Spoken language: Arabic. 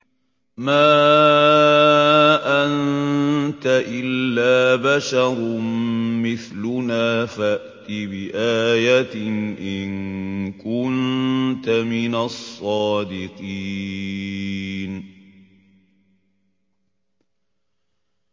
مَا أَنتَ إِلَّا بَشَرٌ مِّثْلُنَا فَأْتِ بِآيَةٍ إِن كُنتَ مِنَ الصَّادِقِينَ